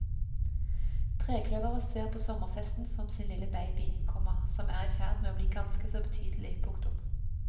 Trekløveret ser på sommerfesten som sin lille baby, komma som er i ferd med å bli ganske så betydelig. punktum